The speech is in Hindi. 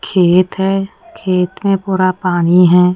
खेत है खेत में पूरा पानी है।